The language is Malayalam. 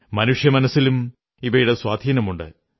മനുഷ്യമനസ്സിലും ഇവയുടെ സ്വാധീനമുണ്ട്